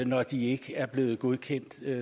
når de ikke er blevet godkendt